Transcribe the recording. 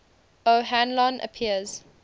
o hanlon appears